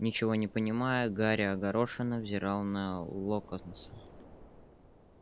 ничего не понимая гарри огорошенно взирал на локонса